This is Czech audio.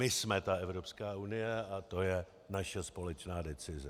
My jsme ta Evropská unie a to je naše společná decize.